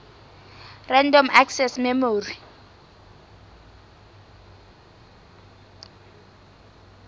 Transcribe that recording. random access memory